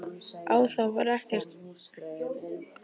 Á það var ekki fallist.